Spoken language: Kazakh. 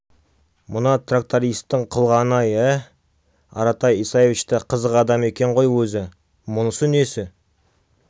мына трактористтің қылғаны-ай ә аратай исаевич та қызық адам екен ғой өзі мұнысы несі